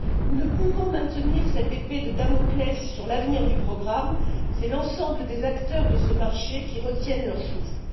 Nous ne pouvons maintenir cette épée de Damoclès sur l'avenir du programme, c'est l'ensemble des acteurs de ce marché qui retiennent leur souffle.